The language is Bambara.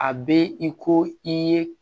A bɛ i ko i ye